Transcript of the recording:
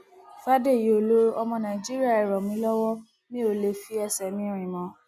fàdèyí ọlọrọ ọmọ nàìjíríà ẹ ràn mí lọwọ mi ò lè fi ẹsẹ mi rìn mọ